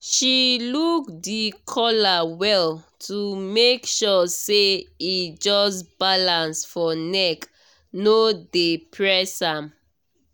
she look the collar well to make sure say e just balance for neck no dey press am